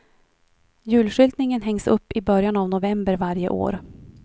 Julskyltningen hängs upp i början av november varje år.